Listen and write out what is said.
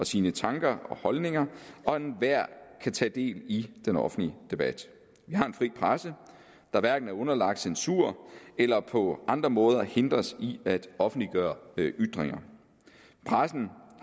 sine tanker og holdninger og at enhver kan tage del i den offentlige debat vi har en fri presse der hverken er underlagt censur eller på andre måder hindres i at offentliggøre ytringer pressen